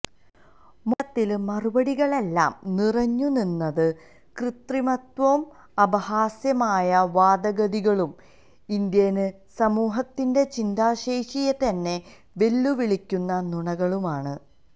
മൊത്തത്തില് മറുപടികളിലെല്ലാം നിറഞ്ഞു നിന്നത് കൃത്രിമത്വവും അപഹാസ്യമായ വാദഗതികളും ഇന്ത്യന് സമൂഹത്തിന്റെ ചിന്താശേഷിയെത്തന്നെ വെല്ലുവിളിക്കുന്ന നുണകളുമാണ്